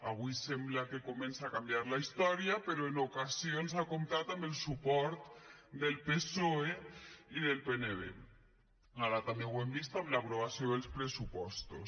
avui sembla que comença a canviar la història però en ocasions ha comptat amb el suport del psoe i del pnb ara també ho hem vist amb l’aprovació dels pressupostos